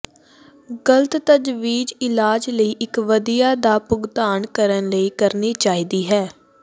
ਗਲਤ ਤਜਵੀਜ਼ ਇਲਾਜ ਲਈ ਇਕ ਵਧੀਆ ਦਾ ਭੁਗਤਾਨ ਕਰਨ ਲਈ ਕਰਨੀ ਚਾਹੀਦੀ ਹੈ